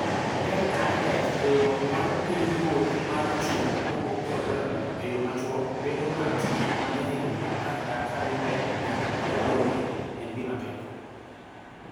NIH: Riwruok mar Pinyruoth mar Chuny, Obo, kod Remo. E yo machuok: Bedo ng�at ma jahigni apar kadhi mbele nyaka prario en gima tek..